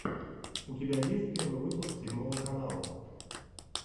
у тебя есть первый выпуск седьмого канала